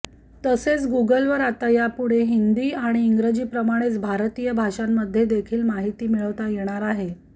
तसेच गुगलवर आता यापुढे हिंदी आणि इंग्रजीप्रमाणेच भारतीय भाषांमध्ये देखील माहिती मिळवता येणार आहे